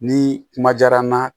Ni kuma diyara n na